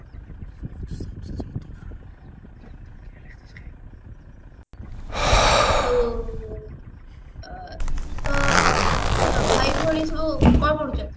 ହଉ ଅ ଅ ଭାଇ ଭଉଣୀ ସବୁ କଣ ପଢୁଛନ୍ତି